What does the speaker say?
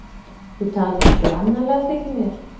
Þú talar glannalega, þykir mér.